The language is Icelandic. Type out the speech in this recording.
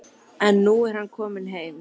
En nú er hann kominn heim.